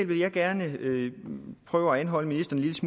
vil gerne prøve at holde ministeren lidt